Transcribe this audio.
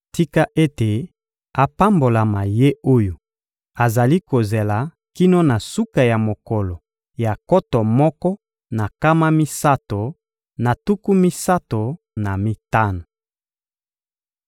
Tika ete apambolama ye oyo azali kozela kino na suka ya mokolo ya nkoto moko na nkama misato na tuku misato na mitano.